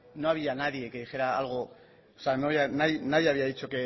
no había nadie que dijera algo o sea nadie había dicho